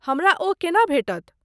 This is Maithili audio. हमरा ओ केना भेटत?